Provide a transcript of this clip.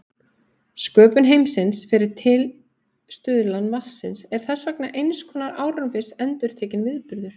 Sköpun heimsins fyrir tilstuðlan vatnsins er þess vegna eins konar árviss endurtekinn viðburður.